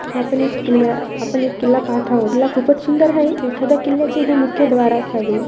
आपण एक किल्ल्या आपण एक किल्ला पाहत आहोत किल्ला खूपच सुंदर आहे. एखाद्या किल्ल्याचे हे मुख्य द्वार असावे.